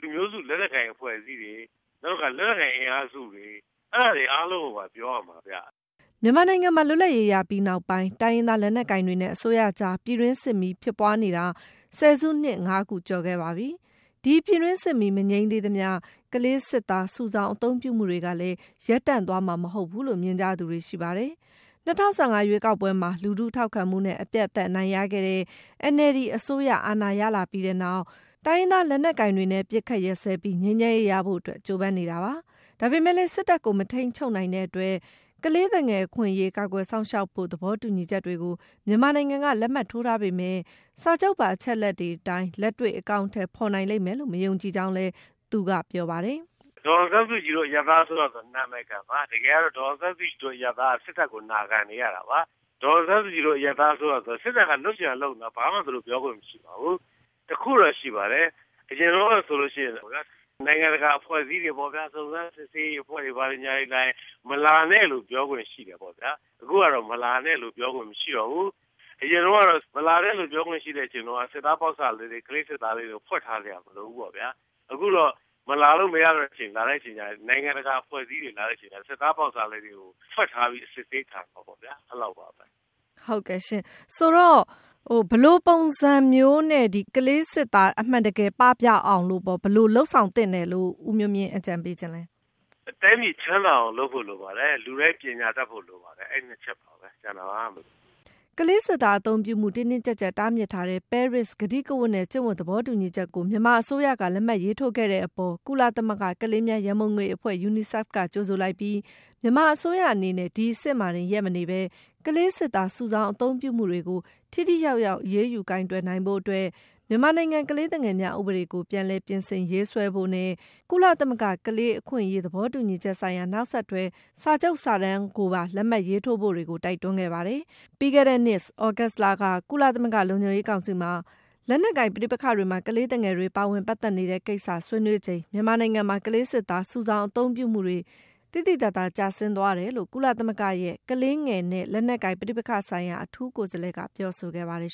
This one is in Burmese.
လူမျိုးစုလက်နက်ကိုင်အဖွဲ့အစည်းတွေ၊ နောက်တခါ လက်နက်ကိုင် အင်အားစုတွေ၊ အဲဒါတွေအားလုံးကို ပြောရမှာဗျ။” မြန်မာနိုင်ငံမှာ လွတ်လပ်ရေးပြီးနောက်ပိုင်း တိုင်းရင်းသားလက်နက်ကိုင်တွေနဲ့ အစိုးရအကြား ပြည်တွင်းစစ်ဖြစ်ပွားနေတာ ဆယ်စုနှစ် ၅ ခု ကျော်ခဲ့ပါပြီ။ ဒီပြည်တွင်းစစ်မီး မငြိမ်းသေးသမျှ - ကလေးစစ်သားစုဆောင်း အသုံးပြုမှုတွေကလည်း ရပ်တန့်သွားမှာ မဟုတ်ဘူးလို့ မြင်ကြသူတွေ ရှိပါတယ်။ ၂၀၁၅ ရွေးကောက်ပွဲမှာ လူထုထောက်ခံမှုနဲ့ အပြတ်အသတ် အနိုင်ရခဲ့တဲ့ NLD အစိုးရ အာဏာရလာပြီးနောက် တိုင်းရင်းသားလက်နက်ကိုင်တွေနဲ့ အပစ်အခတ်ရပ်စဲပြီး ငြိမ်းချမ်းရေးရဖို့အတွက် ကြိုးပမ်းနေတာပါ။ ဒါပေမဲ့လည်း စစ်တပ်ကို မထိန်းချုပ်နိုင်တဲ့အတွက် - ကလေးသူငယ် အခွင့်အရေး ကာကွယ်စောင့်ရှောက်ဖို့ သဘောတူညီချက်တွေကို မြန်မာနိုင်ငံက လက်မှတ်ထိုးထားပေမဲ့ စာချုပ်ပါ အချက်အလက်တွေအတိုင်း လက်တွေ့ အကောင် အထည်ဖော်နိုင်လိမ့်မယ်လို့ မယုံကြည်ကြောင်းလည်း ဦးမျိုးမြင့်က ပြောပါတယ်။ “ဒေါ်အောင်ဆန်းစုကြည်တို့ အရပ်သားအစိုးရဆိုတာ နာမည်ခံပါ။ တကယ်ကတော့ ဒေါ်အောင်ဆန်းစုကြည်တို့ အရပ်သားအစိုးရက စစ်တပ်ကို နာခံနေရတာပါ။ ဒေါ်အောင်ဆန်းစုကြည်တို့ အရပ်သားအစိုးရဆိုတာ စစ်တပ်က လုပ်ချင်ရာလုပ်နေတာ။ ဘာမှ သူတို့ ပြောခွင့်မရှိပါဘူး။ တခုတော့ရှိပါ တယ်။ အရင်တုန်းကဆိုရင်တော့ဗျာ နိုင်ငံတကာ အဖွဲ့အစည်းတွေပေါ့ဗျာ စုံစမ်းစစ်ဆေးရေး အဖွဲ့တွေ ဘာတွေ လာရင် မလာနဲ့လို့ ပြောခွင့်ရှိတယ်ပေါ့ ဗျာ။ အခုကတော့ မလာနဲ့လို့ ပြောခွင့်မရှိတော့ဘူး။ အရင်တုန်းက မလာနဲ့လို့ ပြောခွင့်ရှိတဲ့အချိန်တုန်းက စစ်သားပေါက်စ ကလေးစစ်သားလေးတွေကို ဖွက်ထားစရာ မလိုဘူးပေါ့ဗျာ။ အခုတော့ မလာလို့မရတဲ့အချိန်၊ လာတဲ့အချိန်ကျရင် စစ်သားပေါက်စလေးတွေကို ဖွက်ထားပြီး အစစ်ဆေး ခံမယ်ပေါ့ဗျာ။ အဲ့လောက်ပါပဲ။” မေး - ဟုတ်ကဲ့ရှင့်။ ဆိုတော့ ဘယ်လိုပုံစံမျိုးနဲ့ ကလေးစစ်သား အမှန်တကယ် ပပျောက်အောင်လို့ ဘယ်လိုလုပ်ဆောင်သင့်တယ်လို့ ဦးမျိုးမြင့် အကြံပြု ချင်လဲ။ ဖြေ - “တိုင်းပြည်ချမ်းသာအောင် လုပ်ဖို့လိုပါတယ်။ လူတိုင်း ပညာတတ်ဖို့လိုပါတယ်။ အဲဒီ နှစ်ချက်ပါပဲ။” ကလေးစစ်သားအသုံးပြုမှု တင်းတင်းကြပ်ကြပ် တားမြစ်ထားတဲ့ ပဲရစ်ကတိကဝတ်နဲ့ ကျင့်ဝတ် သဘောတူညီချက်ကို မြန်မာအစိုးရက လက်မှတ်ရေးထိုးခဲ့တဲ့အပေါ် ကုလသမဂ္ဂ ကလေးများရန်ပုံငွေအဖွဲ့ UNICEF က - ကြိုဆိုလိုက်ပြီး၊ မြန်မာအစိုးရအနေနဲ့ ဒီအဆင့်မှာတင် ရပ်မနေဘဲ ကလေးစစ်သား စုဆောင်းအသုံးပြုမှုတွေကို ထိထိရောက်ရောက် အရေးယူ ကိုင်တွယ်နိုင်ဖို့အတွက် မြန်မာနိုင်ငံ ကလေးသူငယ်များ ဥပဒေကို ပြန်လည် ပြင်ဆင်ရေးဆွဲ ဖို့နဲ့ ကုလသမဂ္ဂ ကလေးအခွင့်အရေး သဘောတူညီချက်ဆိုင်ရာ နောက်ဆက်တွဲ စာချုပ်စာတမ်းကိုပါ လက်မှတ်ရေးထိုးတွေကို တိုက်တွန်းခဲ့ပါတယ်။ ပြီးခဲ့တဲ့နှစ် သြဂုတ်လက ကုလသမဂ္ဂ လုံခြုံရေးကောင်စီမှာ လက်နက်ကိုင်ပဋိပက္ခတွေမှာ ကလေးသူငယ်တွေ ပါဝင်ပတ်သက်နေတဲ့ကိစ္စ ဆွေးနွေးချိန် - မြန်မာနိုင်ငံမှာ ကလေးစစ်သား စုဆောင်းအသုံးပြုမှုတွေ သိသိသာသာ ကျဆင်းသွားတယ်လို့ ကုလသမဂ္ဂရဲ့ ကလေးငယ်နဲ့ လက်နက်ကိုင် ပဋိပက္ခဆိုင်ရာ အထူးကိုယ်စားလှယ်က ပြောဆိုခဲ့ပါတယ်